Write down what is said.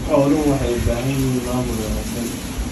Xooluhu waxay u baahan yihiin maamul wanaagsan.